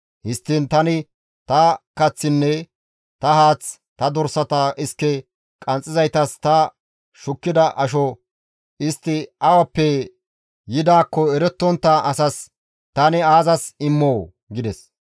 Histtiin tani ta kaththinne ta haath, ta dorsata iske qanxxizaytas ta shukkida asho istti awappe yidaakko erettontta asas tani aazas immoo?» gides.